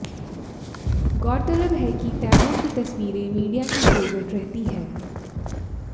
गौरतलब है कि तैमूर की तस्वीरें मीडिया की फेवरिट रहती हैं